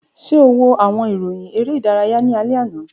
Ṣe o wo awọn iroyin ere idaraya ni alẹ ana?